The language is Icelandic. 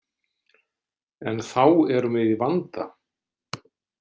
En þá erum við í vanda.